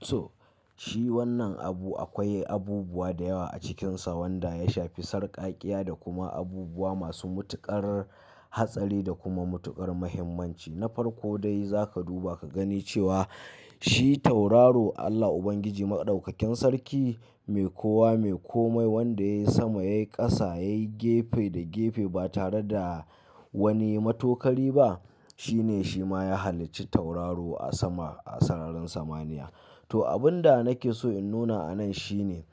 To, shi wannan abu akwai abubuwa da yawa a cikinsa wanda ya shafi sarƙaƙiya da kuma abubuwa masu matuƙar hatsari da kuma matuƙar muhimmanci. Na farko dai za ka duba ka gani cewa shi tauraro Allah Ubangiji Maɗaukakin sarki mai kowa mai komai wanda yayi sama, yayi ƙasa, yayi gefe da gefe ba tare da wani matokari ba. Shi ne shi ma ya halicci tauraro a sama a sararin samaniya. To, abun da nake so in nuna a nan shi ne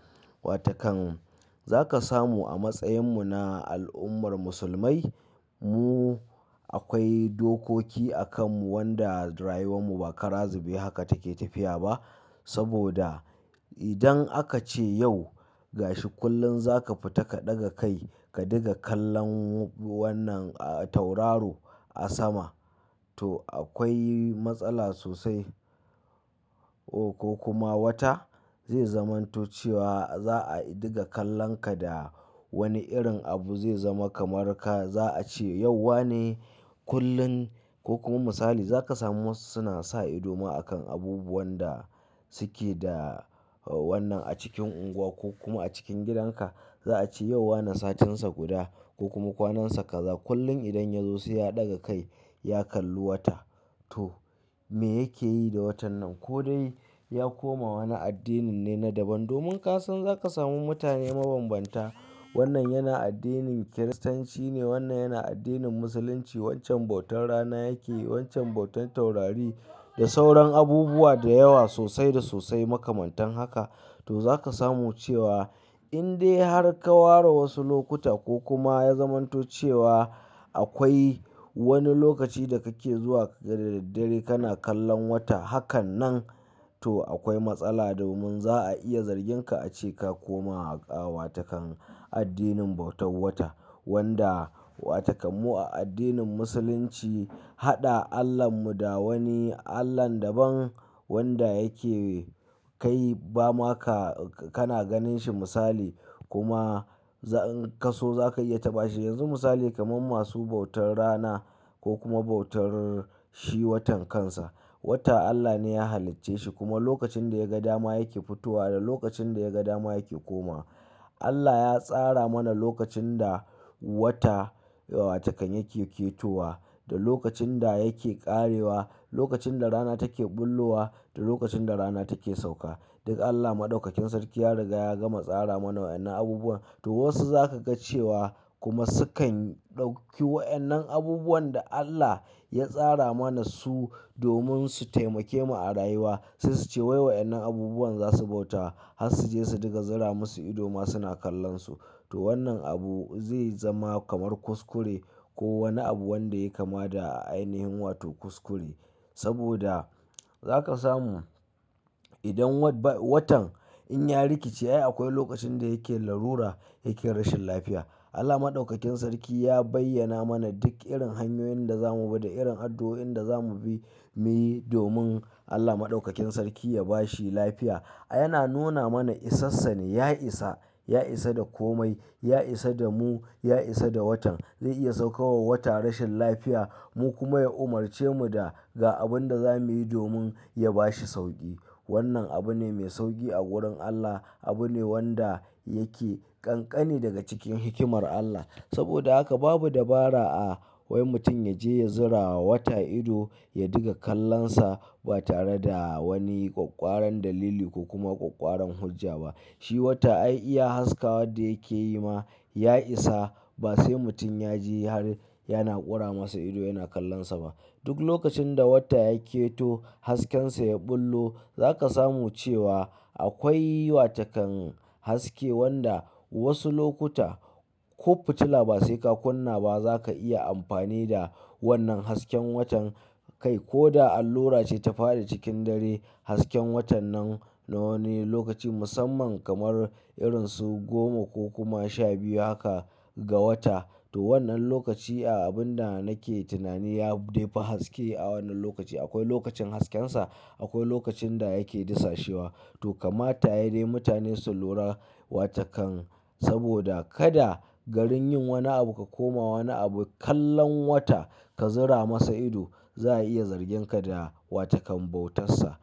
watakan za ka samu a matsayinmu na al'ummar musulmai mu akwai dokoki a kanmu wanda rayuwar mu ba kara zube haka take tafiya ba. Saboda idan a kace yau gashi kullun zaka fita ka daga kai ka dinga kallon wannan, tauraro a sama toh akwai matsala sosai O ko kuma wata zai zamanto cewa za a diga kallon ka da wani irin abu zai zama kamar ka za a ce yau wane kullum. Ko kuma misali za ka samu wasu suna sa ido ma akan abubuwan da suke da wannan a cikin unguwa ko kuma a cikin gidanka. Za a ce yau wana satinsa guda ko kuma kwanansa kaza kullum idan ya zo sai ya ɗaga kai ya kalli wata. To me yake yi da watan nan? Ko dai ya koma wani addinin ne na daban. Domin ka san za ka samu mutane mabanbanta. Wannan yana addinin Kiristanci ne, wannan yana addinin Musulunci. Wancan bautar rana yake, wancan bautar taurari da sauran abubuwa da yawa sosai da sosai makamantan haka. To za ka samu cewa in dai har ka ware wasu lokuta ko kuma ya zamanto cewa akwai wani lokaci da kake zuwa ka ga da daddare kana kallon wata. Haka nan toh akwai matsala domin za'a iya zargin ka a ce ka koma wato kan addinin bautan wata wanda watakan mu a addinin Musulunci haɗa Allahnmu da wani Allah daban wanda yake kai ba ma ka kana ganin shi misali kuma za in ka so za ka iya taɓa shi. Yanzu misali kamar masu bautar rana ko kuma bautar shi watan kansa. Wata Allah ne ya halicce shi kuma lokacin da ya ga dama yake fitowa da lokacin da ya ga dama yake koma. Allah ya tsara muna lokacin da wata watakan yake ketowa da lokacin da yake ƙarewa, lokacin da rana take ɓullo wa da lokacin da rana take sauka. Duk Allah Maɗaukakin sarki ya riga ya gama tsara mana wa'annan abubuwan. To wasu za ka ga cewa kuma sukan ɗauki wa'annan abubuwan da Allah ya tsara mana su domin su taimake mu a rayuwa. Sai su ce wai wa'annan abubuwan za su bauta har su je su diga zura musu ido ma suna kallon su. To wannan abu zai zama kamar kuskure ko wani abu wanda ya kama da a ainihin wato kuskure. Saboda za ka samu idan wat-watan in ya rikice ai akwai lokacin da yake larura yake rashin lafiya. Allah Maɗaukakin sarki ya bayyana mana duk irin hanyoyin da za mu bi da irin addu'o'in da za mu bi miyi domin Allah Maɗaukakin sarki ya ba shi lafiya. Yana nuna mana isa sa ne, ya isa, ya isa da komai, ya isa da mu, ya isa da watan. Zai iya saukawa wata rashin lafiya mu kuma ya umarce mu da ga abin da za mu yi domin ya ba shi sauƙi. Wannan abu ne mai sauƙi a wurin Allah. Abu ne wanda yake ƙanƙani daga cikin hikimar Allah. Saboda haka babu dabara a wai mutum ya je ya zura wa wata ido, ya diga kallon sa ba tare da wani ƙwaƙƙwaran dalili ko kuma ƙwaƙƙwaran hujja ba. Shi wata ai iya haska wadda yake yi ma ya isa ba sai mutum ya je har yana ƙura masa ido yana kallon sa ba. Duk lokacin da wata yaketo hasken sa ya ɓullo za ka samu cewa akwai watakan haske wanda wasu lokuta ko fitila ba sai ka kunna ba za ka iya amfani da wannan hasken watan kai. Ko da allura ce ta faɗi cikin dare hasken watan nan na wani lokaci musamman kamar irin su goma ko kuma sha biyu haka ga wata. To wannan lokaci a abun da nake tunani ya dai fi haske a wannan lokaci. Akwai lokacin hasken sa, akwai lokacin da yake disashewa. Toh kamata dai yayi mutane su lura wata kan saboda kada garin yin wani abu ka koma yin wani abu kallon wata ka zura masa ido za'a iya zargin ka da wata kan bautar sa.